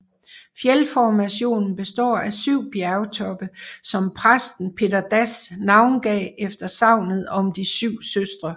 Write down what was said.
Fjeldformationen består af syv bjergtoppe som præsten Petter Dass navngav efter sagnet om de syv søstre